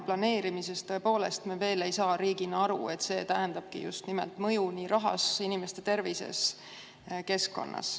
Planeerimisel, tõepoolest, me veel ei saa riigina aru, et see tähendabki just nimelt mõju nii rahas, inimeste tervises, keskkonnas.